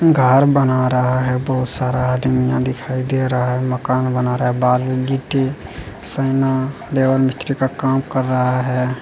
घर बना रहा है बहुत सारा आदमी में दिखाई दे रहा है मकान बना रहा है बालू गिट्टी सैना लेबर मिस्त्री का काम कर रहा है।